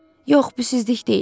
Yox, bu ciddilik deyil.